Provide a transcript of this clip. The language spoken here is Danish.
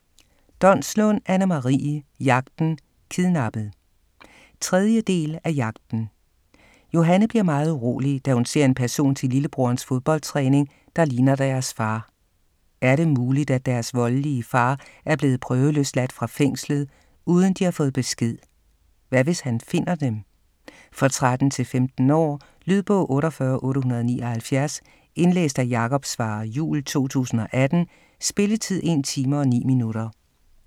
Donslund, Anne-Marie: Jagten - kidnappet 3. del af Jagten. Johanne bliver meget urolig, da hun ser en person til lillebrorens foldboldtræning, der ligner deres far. Er det muligt, at deres voldelige far er blevet prøveløsladt fra fængslet, uden de har fået besked? Hvad hvis han finder dem? For 13-15 år. Lydbog 48879 Indlæst af Jakob Svarre Juhl, 2018. Spilletid: 1 time, 9 minutter.